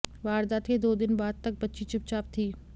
वारदात के दो दिन बाद तक बच्ची चुपचाप थी